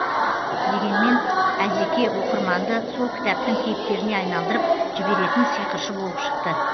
дегенмен әзеке оқырманды сол кітаптың кейіпкеріне айналдырып жіберетін сиқыршы болып шықты